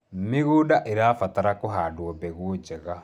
mĩgũnda irabatara kuhandwo mbegũ njega